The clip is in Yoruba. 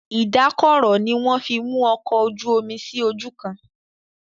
Ìdákọrò ní wón fí mú òkò ojú omí sí ojú kán.